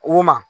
O ma